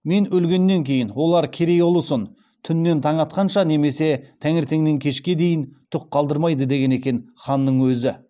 мен өлгеннен кейін олар керей ұлысын түн нен таң атқанша немесе таңертеңнен кешке дейін түк қалдырмайды деген екен ханның өзі